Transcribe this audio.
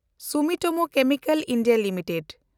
Sumitomo chemical India limited